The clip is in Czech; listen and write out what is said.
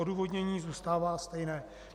Odůvodnění zůstává stejné.